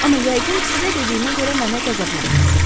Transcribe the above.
Amma yəqin sizə dediyimə görə mənə qəzəblənməz.